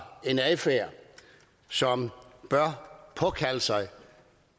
en adfærd som bør påkalde sig